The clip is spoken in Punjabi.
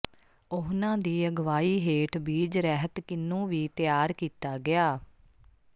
ਉਹਨਾਂ ਦੀ ਅਗਵਾਈ ਹੇਠ ਬੀਜ ਰਹਿਤ ਕਿੰਨੂ ਵੀ ਤਿਆਰ ਕੀਤਾ ਗਿਆ